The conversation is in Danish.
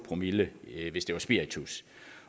promille hvis det er spiritus